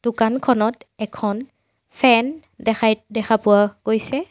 দোকানখনত এখন ফেন দেখাই দেখা পোৱা গৈছে।